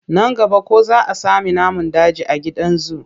Nan gaba ko za sami namun daji a gidan zu?